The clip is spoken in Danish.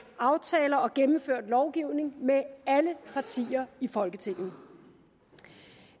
aftaler og gennemført lovgivning med alle partier i folketinget